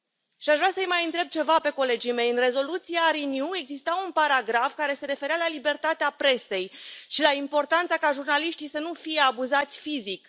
Și aș vrea să i mai întreb ceva pe colegii mei în rezoluția Renew exista un paragraf care se referea la libertatea presei și la importanța ca jurnaliștii să nu fie abuzați fizic.